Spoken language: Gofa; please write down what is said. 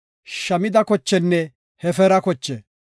Shamida kochenne Hefeera koche.